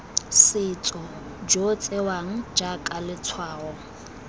setso jo tsewang jaaka letshwao